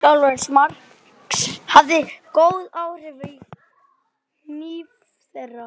Sjálfstraust Marks hafði góð áhrif á kynlíf þeirra.